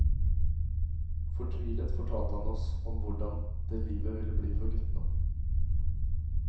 Fortvilet fortalte han oss om hvordan det livet ville bli for guttene.